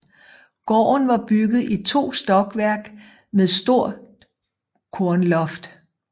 Gården var bygget i to stokværk med stort kornloft